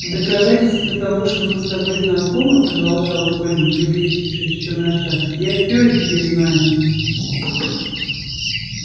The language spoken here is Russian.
в доказательство того что мы с тобой знакомы продолжал колин приблизившись ещё на шаг я все о тебе знаю